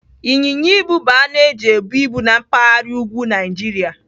Ịnyịnya ibu bụ anụ eji ebu ibu na mpaghara úgwú Naijiria.